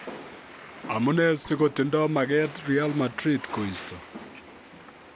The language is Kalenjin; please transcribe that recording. Amune si kotindo maget Real Madrid koisto?